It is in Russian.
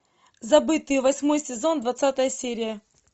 забытые восьмой сезон двадцатая серия